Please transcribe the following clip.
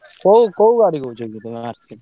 କୋଉ କୋଉ ଗାଡି କହୁଛ କି ତମେ